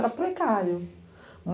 Era precário.